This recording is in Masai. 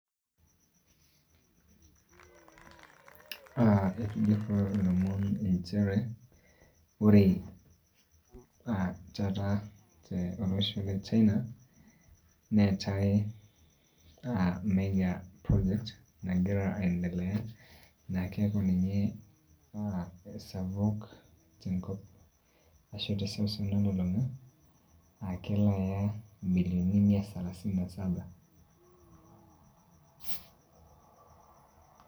Ah etujurruo ilomon inchere, ore ah taata tolosho le China, neetae ah major project nagira [csaiendelea. Naa keeku ninye esapuk tenkop ashu teseuseu nalulung'a, ah kelo aya imilioni mia salasini na saba.